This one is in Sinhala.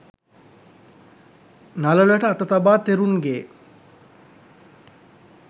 නළලට අත තබා තෙරුන්ගේ